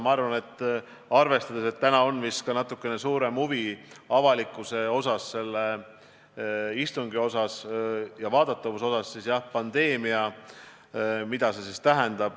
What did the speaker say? Arvestades seda, et täna on vist avalikkuse huvi selle istungi vastu ja vaadatavus natuke suuremad, siis jah, pandeemia – mida see tähendab?